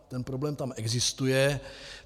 Ten problém tam existuje.